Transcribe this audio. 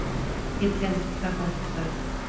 Ég tel það gott verð